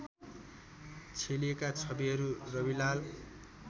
छेलिएका छविहरू रविलाल